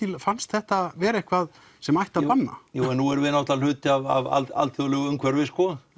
fannst þetta vera eitthvað sem ætti að banna jú en nú erum við náttúrulega hluti af alþjóðlegu umhverfi sko